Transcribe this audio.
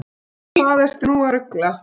Hvað ertu nú að rugla!